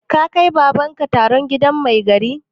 Ka kai Baban ka taron gidan mai gari?